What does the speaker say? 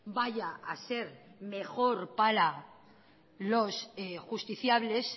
vaya a ser mejor para los justiciables